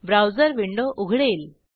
browser window उघडेल